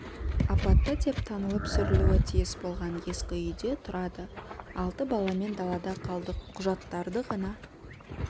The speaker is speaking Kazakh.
апатты деп танылып сүрілуі тиіс болған ескі үйде тұрады алты баламен далада қалдық құжаттарды ғана